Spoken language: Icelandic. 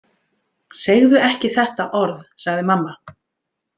Segðu ekki þetta orð, sagði mamma.